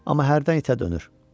Amma hərdən itə dönür.